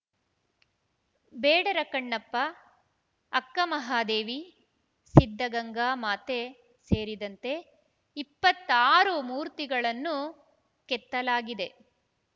ಬೇಡರ ಕಣ್ಣಪ್ಪ ಅಕ್ಕ ಮಹಾದೇವಿ ಸಿದ್ಧಗಂಗಾ ಮಾತೆ ಸೇರಿದಂತೆ ಇಪ್ಪತ್ತಾರು ಮೂರ್ತಿಗಳನ್ನು ಕೆತ್ತಲಾಗಿದೆ